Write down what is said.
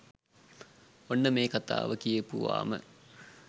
ඔන්න මේ කතාව කියපුවාම